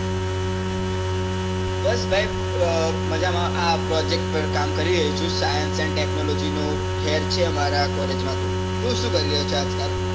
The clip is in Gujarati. બસ ભાઈ મજામાં આ project પર કામ કરી રહ્યો છું science and technology નો fair છે અમારા college માં તો. તું શું કરી રહ્યો છે આજ કાલ?